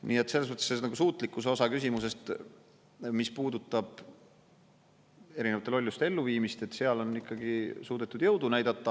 Nii et selles suhtes nagu suutlikkuse osa küsimusest, mis puudutab erinevate lolluste elluviimist, seal on ikkagi suudetud jõudu näidata.